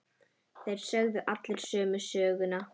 Þeir sögðu allir sömu söguna.